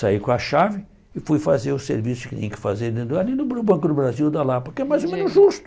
Saí com a chave e fui fazer o serviço que tinha que fazer dentro ali no Banco do Brasil, da Lapa, que é mais ou menos justo.